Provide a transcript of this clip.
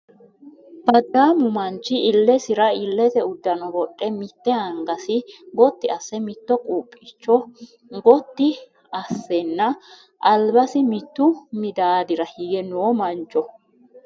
Baddaamu manchi illesira illete uddano wodhe mitte angasi gotti asse, mitto qubbicho gotti assenna albasi mittu midaadira hige no mancho.